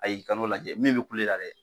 kan'o lajɛ min bi kule la dɛ